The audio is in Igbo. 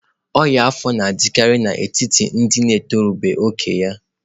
Ọnya afọ na-adịkarị n'etiti ndị ntorobịa nke oge a.